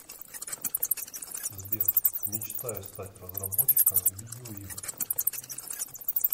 сбер мечтаю стать разработчиком видеоигр